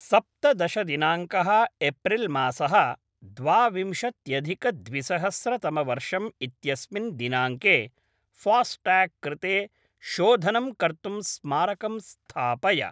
सप्तदशदिनाङ्कः एप्रिल्मासः द्वाविंशत्यधिकद्विसहस्रतमवर्षम् इत्यस्मिन् दिनाङ्के फास्टाग् कृते शोधनं कर्तुं स्मारकं स्थापय।